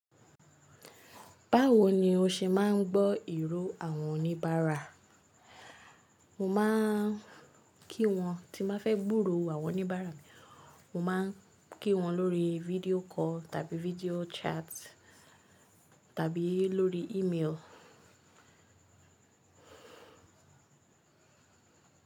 Báwo ni o ṣe máà ń gbọ́ ìró àwọn oníbàárà? Mo máa ń kí wọn tí màá fẹ́ gbúró àwọn oníbàárà mi, mo máa ń kí wọn lórí video call tàbí video chat tàbí lórí email.